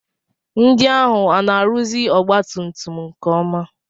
Ndị ahụ ana-arụzi ọgbatumtum nke ọma?